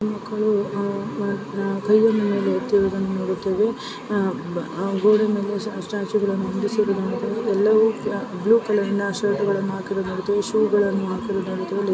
ಈ ಮಕ್ಕಳು ಕೈಯನ್ನು ಎತ್ತಿರುವುದನ್ನು ನಾವು ನೋಡುತ್ತೇವೆ ಆ ಮಕ್ಕಳೆಲ್ಲರೂ ಸಹ ಬ್ಲೂ ಕಲರ್ ಶರ್ಟ್ ಅನ್ನು ಹಾಕಿದ್ದಾರೆ ಮತ್ತು ಶುಗಳನ್ನು ಹಾಕಿದ್ದಾರೆ